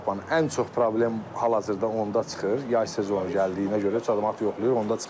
Ən çox problem hal-hazırda onda çıxır, yay mövsümü gəldiyinə görə, avtomat yoxlayır, onda çıxır.